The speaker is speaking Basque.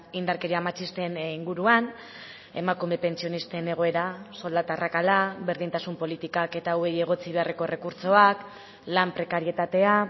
indarkeria matxisten inguruan emakume pentsionisten egoera soldata arrakala berdintasun politikak eta hauei egotzi beharreko errekurtsoak lan prekarietatea